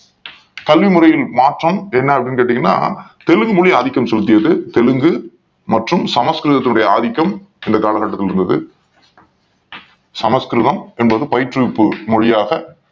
கல்வி முறையில் மாற்றம் என்ன அப்படின்னு கேட்டீங்கன்னா தெலுங்கு மொழி ஆதிக்கம் செலுத்தியது தெலுங்கு மற்றும் சமஸ்கிருதத்தின் உடைய ஆதிக்கம் இந்த காலகட்டத்தில் இருந்தது சமஸ்கிருதம் என்பது பயிற்றுவிப்பு மொழியாக